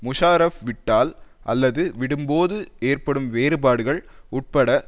முஷாரஃப் விட்டால் அல்லது விடும்போது ஏற்படும் வேறுபாடுகள் உட்பட